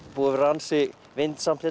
búið að vera ansi vindasamt